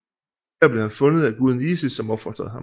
Der blev han fundet af guden Isis som opfostrede ham